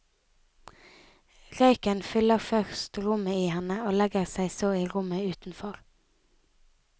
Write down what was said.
Røyken fyller først rommet i henne og legger seg så i rommet utenfor.